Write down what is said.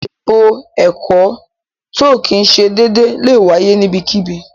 Ètò ẹkọ̀ tó kìí ṣè déédè lẹ wáyé níbẹ̀kíbí.